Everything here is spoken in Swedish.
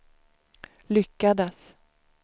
lyckades